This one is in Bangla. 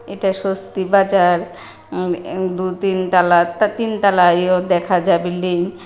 এটা স্বস্তি বাজার উম এম দু তিন তালা তা তিন তালাইও দেখা যা বিল্ডিং ।